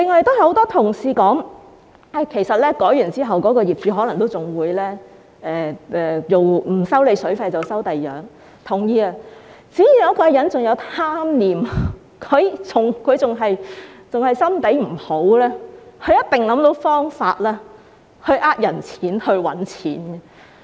此外，很多同事指出，經過今次法例修訂之後，業主可能不再收水費，但改收另一些費用，這個我是同意的，只要一個人仍然有貪念，心腸仍然壞，一定會想到方法騙人錢財和賺錢。